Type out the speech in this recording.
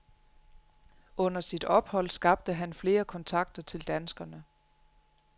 Under sit ophold skabte han flere kontakter til danskere.